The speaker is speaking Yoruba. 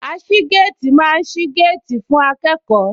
Aṣígéètì máa ń sí géètì fún akẹ́kọ̀ọ́